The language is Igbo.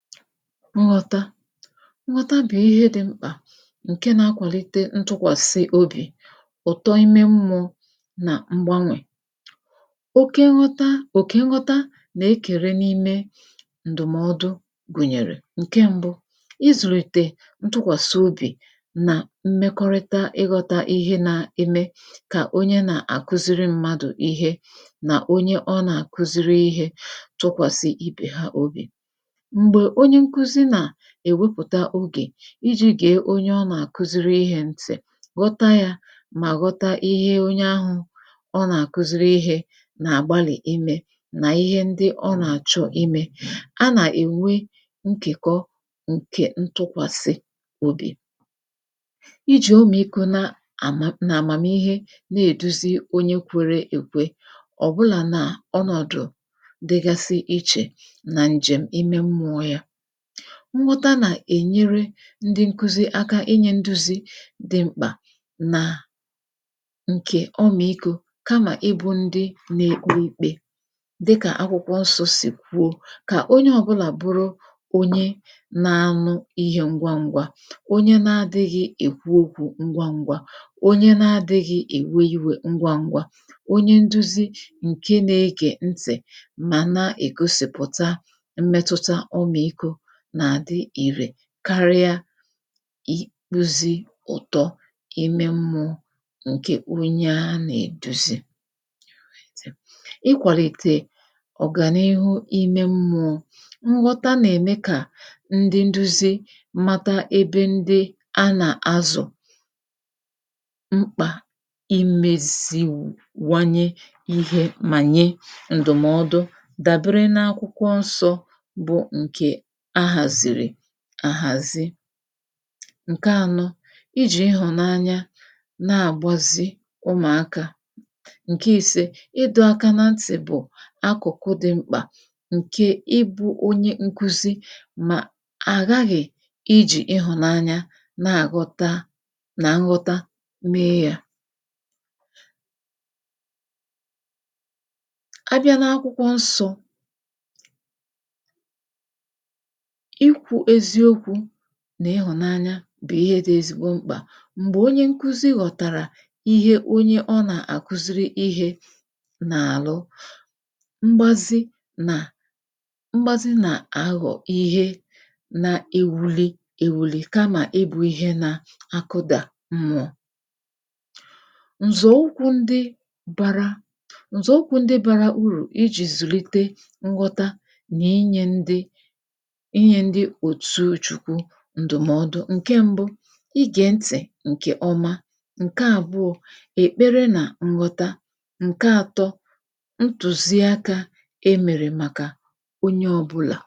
nghọta nghọta bụ̀ ihe dị̄ mkpà ǹke nā-akwàlite ntụkwàsị obì ụ̀tọ ime mmụ̄ọ nà mgbanwè oke nghọta, òkè nghọta nà-ekère n’ime ǹdụ̀mọdụ gụ̀nyèrè ǹke m̄bụ̄ izùlìtè ntụkwàsị obì nà mmekọrịta ighōtā ihe nā-eme kà onye na-akuziri mmadụ̀ ihe nà onye ọ nà-àkụziri ihē tụkwàsị ibè ha obì m̀gbè onye nkuzi nà èwepụ̀ta ogè ijī gèe onye ọ nà-àkuziri ihē ntị̀ ghọta yā mà ghọta ihe onye ahụ̄ ọ nà-àkuziri ihē nà-àgbalì imē nà ihe ndị ọ nà-àchọ imē nkèkọ ǹkè ntụkwàsị obì ijì omìikō na àma àmàmihe na-èduzi onye kwērē èkwe ọ̀bụlà n’ọnọ̀dụ̀ dịgasị ichè nà ǹjèm̀ ime mmụ̄ọ̄ ya nghọta nà-ènyere ndị nkuzi aka inyē nduzi dị mkpà nà ǹkè ọmị̀ikō kamà ịbụ̄ ndị na-ekpe ikpē dịkà akwụkwọ nsọ̄ sì kwuo kà onye ọ̄bụ̄là bụrụ onye na-anụ ihē ngwa n̄gwā onye na-adịghị̄ èkwu okwū ngwa n̄gwā onye na-adịghị̄ èwe iwē ngwa n̄gwā onye nduzi ǹke na-egè ntị̀ mà na-ègosìpụ̀ta mmetụta ọmị̀ikō nà-àdị ìrè karịa ikpūzī ụ̀tọ ime mmụ̄ọ̄ ǹkè onye a nà-èduzi ịkwàlìtè ọ̀gànihu ime mmụ̄ọ̄ nghọta nà-ème kà ndị nduzi mata ebe ndị a nà-azụ̀ mkpà imēziwanye ihe mà nye ǹdụ̀mọdụ dàbere n’akwụkwọ nsọ̄ bụ ǹkè a hàzìrì àhàzi ǹke ānọ̄ ijì ịhụ̀nanya na-àgbazị ụmụ̀akā ǹke īsē ịdọ̄ aka na ntị̀ bụ̀ akụ̀kụ dị̄ mkpà ǹkè ịbụ̄ onye nkuzi mà àghaghị̀ ijì ịhụ̀nanya na-àghọta nà nghọta mee yā abịa n’akwụkwọ nsọ̄ ikwū eziokwū nà ịhụ̀nanya bụ̀ ihe dị̄ ezigbo mkpà m̀gbè onye nkuzi ghọ̀tàrà ihe onye ọ nà-àkuziri ihē nà-àlụ mgbasị nà mgbazị nà-aghọ̀ ihe na-ewuli ewuli kamà ịbụ̄ ihe nā akụdà mmụ̄ọ̄ ǹzọ̀ ụkwụ̄ ndị bārā ǹzọ̀ ụkwụ̄ ndị bārā urù ijì zùlite nghọta nà inyē ndị inyē ndị òtu chukwu ǹdụ̀mọdụ ǹke m̄bụ̄ igè ntị̀ ǹkè ọma ǹke àbụọ̄ èkpere nà nghọta ǹke ātọ̄ ntùzi akā e mèrè màkà onye ọ̄bụ̄là